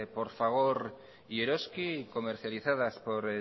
por fagor y eroski y comercializadas por